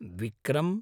Vikram